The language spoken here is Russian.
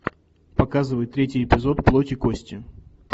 показывай третий эпизод плоть и кости